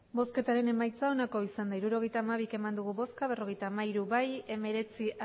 emandako botoak hirurogeita hamabi bai berrogeita hamairu abstentzioak hemeretzi